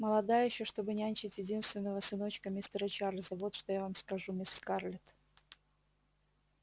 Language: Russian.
молода ещё чтобы нянчить единственного сыночка мистера чарлза вот что я вам скажу мисс скарлетт